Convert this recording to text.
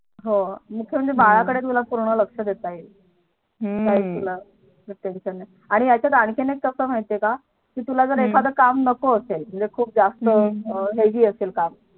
हो म्हणजे हम्म बाळा कडे तुला पूर्ण लक्ष देता येईल. हम्म तुला Tension नाही यांच्यात आणखी एक कस माहिती का हम्म काय कि तुला एखाद काम नको हम्म असेल म्हणजे खूप जास्त Heavy असेल काम